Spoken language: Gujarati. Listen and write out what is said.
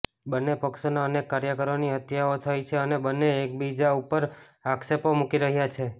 બન્ને પક્ષોના અનેક કાર્યકરોની હત્યાઓ થઈ છે અને બન્ને એકબીજા ઉપર આક્ષેપો મૂકી રહ્યા છે